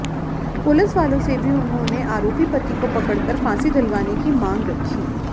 पुलिसवालों से भी उन्होंने आरोपी पति को पकड़कर फांसी दिलवाने की मांग रखी